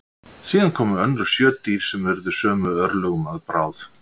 Síðar komu önnur sjö dýr sem urðu sömu örlögum að bráð.